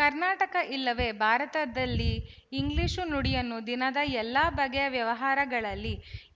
ಕರ್ನಾಟಕ ಇಲ್ಲವೇ ಭಾರತದಲ್ಲಿ ಇಂಗ್ಲಿಶು ನುಡಿಯನ್ನು ದಿನದ ಎಲ್ಲ ಬಗೆಯ ವ್ಯವಹಾರಗಳಲ್ಲಿ